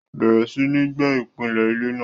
bẹ̀rẹ̀ sí ní gbẹ́ ìpìlẹ̀ ilé náà.